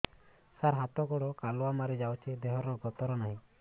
ସାର ହାତ ଗୋଡ଼ କାଲୁଆ ମାରି ଯାଉଛି ଦେହର ଗତର ନାହିଁ